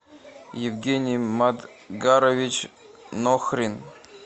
евгений мадгарович нохрин